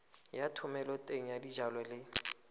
ya thomeloteng ya dijalo le